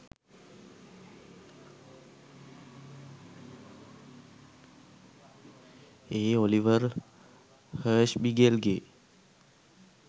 A Oliver හර්ෂ්බිගෙල්ගේ